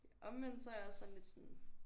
Omvendt så er jeg også sådan lidt sådan